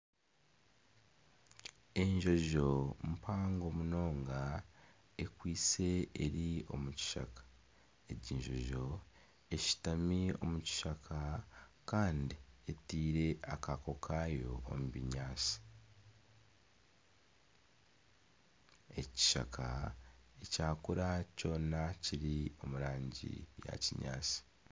Enjonjo mpango munonga ekwaitse eri omu kishaka enjonjo eshutami omu kishaka kandi eteire akaako kaayo omu binyaatsi ekishaka ekyakura kiri omu rangi ya kinyaatsi.